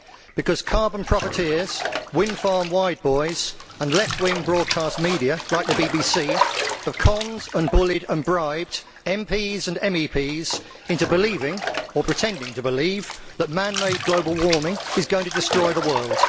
Because carbon profiteers, wind farm wide boys and left wing broadcast media like the BBC have conned and bullied and bribed MPs and MEPs into believing or pretending to believe that man made global warming is going to destroy the world.